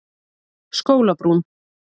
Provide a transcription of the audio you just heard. Skólabrún